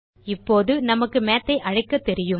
இப்போது நமக்கு Mathஐ அழைக்க தெரியும்